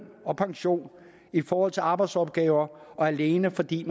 og pension i forhold til arbejdsopgaver alene fordi